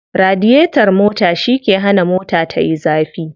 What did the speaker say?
Radiyetar mota shi ke hana mota tayi zafi.